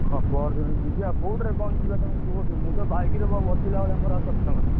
ହଁ, ପହର ଦିନ ଯିବି ଆଉ କୋଉଥିରେ କଣ ଯିବା ତମେ କୁହ ଟିକେ? ମୁଁ ତ bike ରେ ବସିଲା ଭଳିଆ ମୋର ଆଉ ସକ୍ଷମ ନାହିଁ।